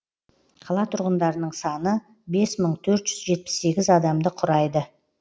қала тұрғындарының саны бес мың төрт жүз жетпіс сегіз адамды құрайды